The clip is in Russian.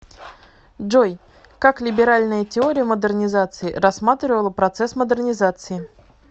джой как либеральная теория модернизации рассматривала процесс модернизации